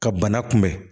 Ka bana kunbɛn